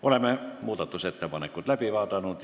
Oleme muudatusettepanekud läbi vaadanud.